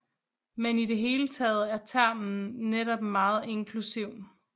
Men i det hele taget er termen netop meget inklusiv